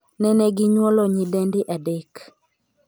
Neneginyuolo nyidendi adek.